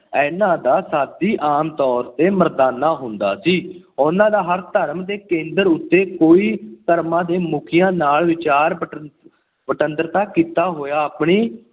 ਇਹਨਾ ਦਾ ਸਾਥੀ ਆਮ ਤੌਰ ਤੇ ਮਰਦਾਨਾ ਹੁੰਦਾ ਸੀ। ਉਹਨਾ ਦਾ ਹਰ ਧਰਮ ਦੇ ਕੇਂਦਰਾਂ ਉੱਤੇ ਕੋਈ ਧਰਮਾਂ ਦੇ ਮੁਖੀਆਂ ਨਾਲ ਵਿਚਾਰ-ਵਟਾਂ ਵਟਾਂਦਰਾ ਕੀਤਾ। ਉਹ ਆਪਣੀ